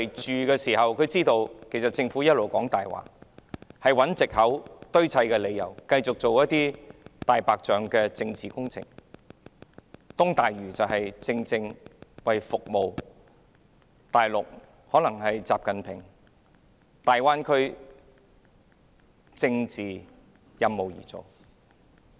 他們知道政府一直說謊，找藉口和堆砌理由，繼續進行"大白象"政治工程，例如東大嶼填海工程，正是為習近平親自規劃的大灣區這個政治任務而進行的。